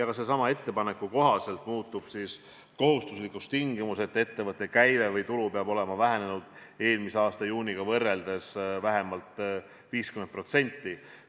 Sellesama ettepaneku kohaselt muutub kohustuslikuks ka tingimus, et ettevõtte käive või tulu peab olema eelmise aasta juuniga võrreldes vähenenud vähemalt 50%.